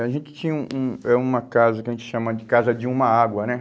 A gente tinha um um um é uma casa que a gente chama de casa de uma água, né?